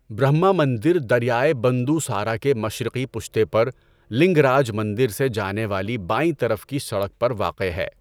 برہما مندر دریائے بندوسارا کے مشرقی پشتے پر، لنگ راج مندر سے جانے والی بائیں طرف کی سڑک پر واقع ہے۔